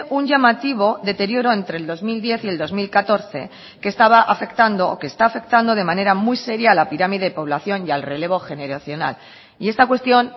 un llamativo deterioro entre el dos mil diez y el dos mil catorce que estaba afectando o que está afectando de manera muy seria a la pirámide población y al relevo generacional y esta cuestión